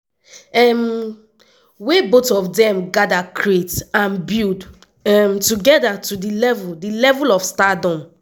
um wey both of dem gada create and build um togeda to di level di level of stardom.